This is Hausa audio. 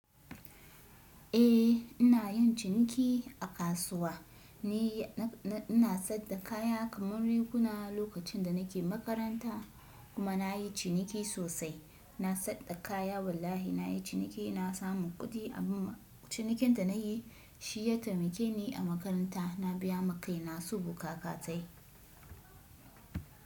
Eh, ina yin ciniki a kasuwa. Ni na, na, ina sayarda kaya kamar riguna lokacin da nake makaranta kuma na yi ciniki sosai. Na sayarda kaya wallahi na yi ciniki, na samu kuɗi. Amma cinikin da na yi shi ya taimake ni a makaranta. Na biya makai na su bukaka tayi.